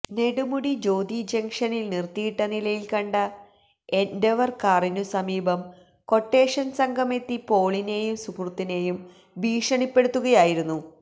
നെടുമുടി ജ്യോതി ജംഗ്ക്ഷനിൽ നിർത്തിയിട്ട നിലയിൽ കണ്ട എൻഡവർ കാറിനു സമീപം ക്വട്ടേഷൻ സംഘമെത്തി പോളിനെയും സുഹൃത്തിനെയും ഭീഷണിപ്പെടുത്തുകയായിരുന്നു